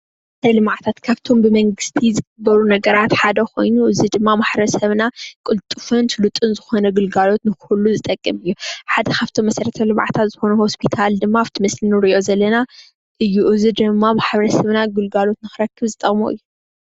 እዚ ልምዓታት ካብቶም ብመንግስቲ ዝግበሩ ነገራት ሓደ ኮይኑ እዚ ድማ ማሕበረሰብና ቅልጡፍን ስሉጥን ዝኾነ ግልጋሎት ንኽህሉ ዝጠቅም እዩ ሓደ ካብቶም መሰረተ ልምዓታት ዝኾኑ ሆስፒታል ድማ ኣብቲ ምስሊ ንርእዮ ዘለና እዩ እዚ ድማ ማሕበረ ሰብና ግልጋሎት ንኽረክብ ዝጠቕሞ እዩ።